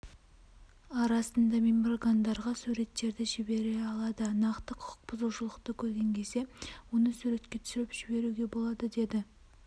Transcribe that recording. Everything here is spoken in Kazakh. арасында меморгандарға суреттерді жібере алады нақты құқықбұзушылықты көрген кезде оны суретке түсіріп жіберуге болады деді